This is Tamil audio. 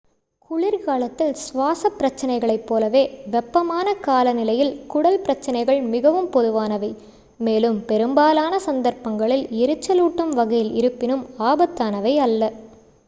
குளிர்காலத்தில் சுவாசப் பிரச்சினைகளைப் போலவே வெப்பமான காலநிலையில் குடல் பிரச்சினைகள் மிகவும் பொதுவானவை மேலும் பெரும்பாலான சந்தர்ப்பங்களில் எரிச்சலூட்டும் வகையில் இருப்பினும் ஆபத்தானவை அல்ல